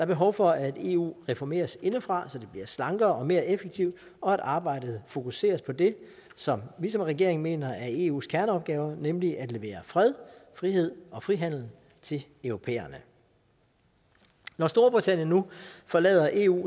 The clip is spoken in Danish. behov for at eu reformeres indefra så det bliver slankere og mere effektivt og at arbejdet fokuseres på det som vi som regering mener er eus kerneopgaver nemlig at levere fred frihed og frihandel til europæerne når storbritannien nu forlader eu